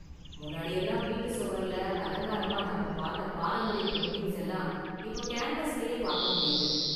முன்னாடியெல்லாம் வீட்டு சுவர்ல அலங்காரமா நாம பாத்த பாரம்பரிய​ பெயிண்டிங்ஸ் எல்லாம் இப்ப கேன்வாஸிலேயே பாக்க முடியுது.